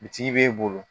Bitigi b'e bolo